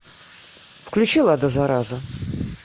включи лада зараза